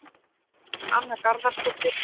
Anna Garðarsdóttir